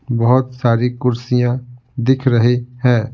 बहुत सारी कुर्सियाँ दिख रही हैं ।